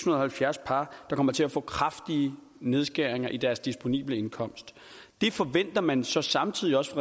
og halvfjerds par der kommer til at få kraftige nedskæringer i deres disponible indkomst det forventer man så samtidig også